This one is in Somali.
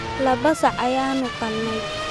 Laba sac ayaanu qalnay.